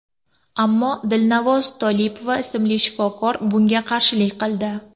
Ammo Dilnavoz Tolipova ismli shifokor bunga qarshilik qildi.